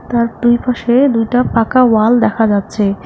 তার দুইপাশে দুইটা পাকা ওয়াল দেখা যাচ্ছে।